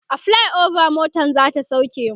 a flyover motan zata sauke mu